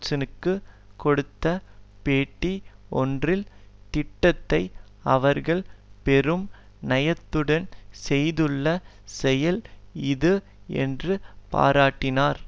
ஜேர்னலுக்குக் கொடுத்த பேட்டி ஒன்றில் திட்டத்தை அவர்கள் பெரும் நயத்துடன் செய்துள்ள செயல் இது என்று பாரட்டினார்